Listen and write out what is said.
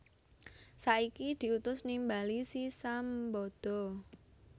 Saiki diutus nimbali si Sambada